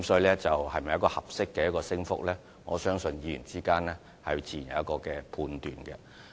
這是否一個合理的升幅，我相信議員之間自有判斷。